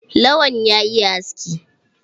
Lawan ya iya aski?